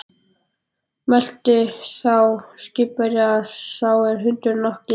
Mælti þá skipverji sá er hundinn átti